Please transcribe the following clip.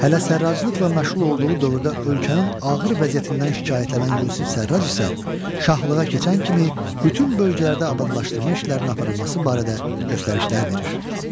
Hələ sərraçlıqla məşğul olduğu dövrdə ölkənin ağır vəziyyətindən şikayətlənən Yusif Sərraç isə şahlığa keçən kimi bütün bölgələrdə abadlaşdırma işlərinin aparılması barədə göstərişlər verir.